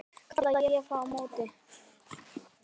kalla ég á móti.